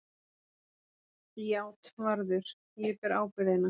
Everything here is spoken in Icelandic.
JÁTVARÐUR: Ég ber ábyrgðina.